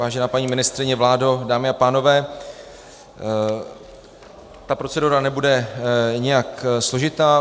Vážená paní ministryně, vládo, dámy a pánové, ta procedura nebude nijak složitá.